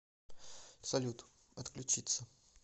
салют отключиться